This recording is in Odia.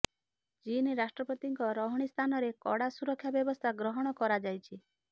ଚୀନ ରାଷ୍ଟ୍ରପତିଙ୍କ ରହଣୀ ସ୍ଥାନରେ କଡ଼ା ସୁରକ୍ଷା ବ୍ୟବସ୍ଥା ଗ୍ରହଣ କରାଯାଇଛି